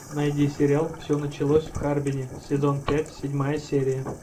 найди сериал все началось в харбине сезон пять седьмая серия